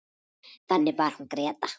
Þannig var hún Gréta.